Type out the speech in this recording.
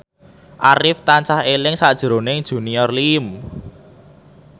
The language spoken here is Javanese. Arif tansah eling sakjroning Junior Liem